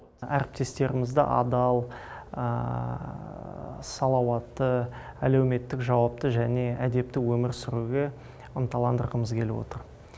әріптестерімізді адал салауатты әлеуметтік жауапты және әдепті өмір сүруге ынталандырғымыз келіп отыр